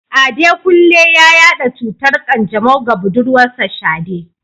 Adekunle ya yada cutar kanjamau ga budurwarsa Shade.